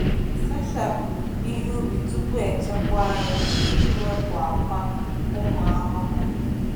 Sachapụ ihe ubi tupu echekwa ya iji wepụ akwa ụmụ ahụhụ.